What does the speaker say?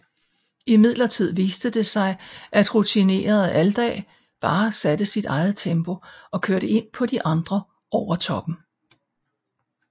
Imidlertid viste det sig at rutinerede Aldag bare satte sit eget tempo og kørte ind på de andre over toppen